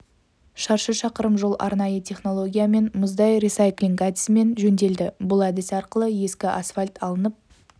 шаршы шақырым жол арнайы технологиямен мұздай ресайклинг әдісімен жөнделді бұл әдіс арқылы ескі асфальт алынып